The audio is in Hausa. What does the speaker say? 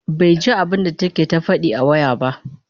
baiji abunda take ta Faɗi a waya ba